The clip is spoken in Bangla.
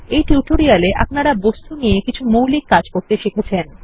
এই টিউটোরিয়ালটিতে আপনারা বস্তু নিয়ে কিছু মৌলিক কাজ শিখেছেন